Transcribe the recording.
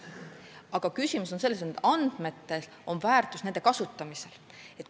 Aga küsimus on selles, et nendel andmetel on väärtus ainult nende kasutamisel.